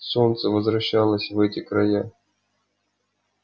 солнце возвращалось в эти края